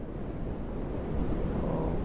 ஓ.